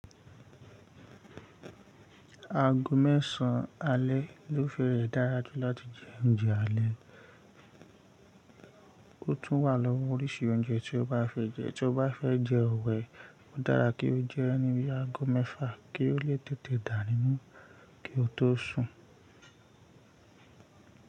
Ago mẹ́san alẹ́ ló fẹ́rẹ̀ dára jù láti jẹ oúnjẹ alẹ́. Ó tún wà lọ́wọ́ oríṣi oúnjẹ tí o bá fẹ́ jẹ́. Tí o bá fẹ́ jẹ ọ̀wẹ́, ó dára kí o jẹ ẹ́ níbi ago mẹ́fa kí ó lè tètè dànù nínú kí ó tó sùn.